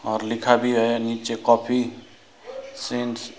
और लिखा भी है नीचे काफी सींस ।